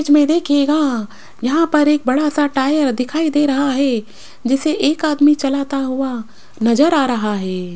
इस में देखिएगा यहां पर एक बड़ा सा टायर दिखाई दे रहा है जिसे एक आदमी चलता हुआ नजर आ रहा है।